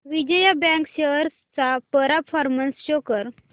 Vijaya bank shares चा performance show कर